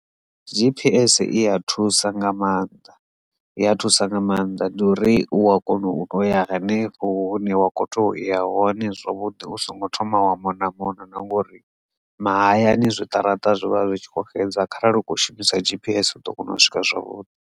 G_P_S i ya thusa nga maanḓa i ya thusa nga maanḓa ndi uri u a kona u toya hanefho hune wa kho to iya hone zwavhuḓi u songo thoma wa mona mona na ngori mahayani zwiṱaraṱa zwivha zwi tshi kho xedza kharali u kho shumisa G_P_S u ḓo kona u swika zwavhuḓi.